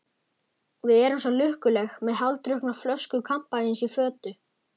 Við erum svo lukkuleg, með hálfdrukkna flösku kampavíns í fötu.